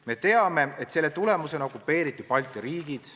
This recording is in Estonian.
Me teame, et selle tulemusena okupeeriti Balti riigid.